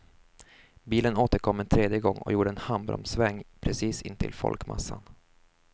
Bilen återkom en tredje gång och gjorde en handbromssväng precis intill folkmassan.